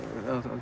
að